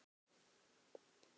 Boltinn er hjá ríkinu.